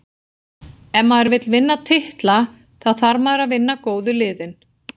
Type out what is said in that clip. Ef maður vill vinna titla, þá þarf maður að vinna góðu liðin.